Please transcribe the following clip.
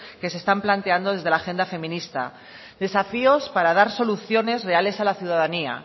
que se están planteando desde la agenda feminista desafíos para dar soluciones reales a la ciudadanía